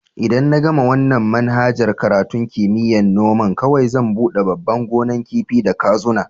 Idan na gama wanan manhajar karatun kimiyya'n noma, kowai zan bude babban gonan kifi da kazuna.